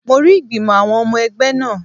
Mo rí ìgbìmò àwọn ọmọ ẹgbẹ́ náà